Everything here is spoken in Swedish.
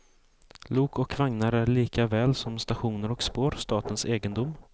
Lok och vagnar är likaväl som stationer och spår statens egendom.